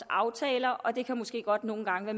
aftaler og det kan måske godt nogle gange